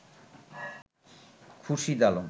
Khurshid Alam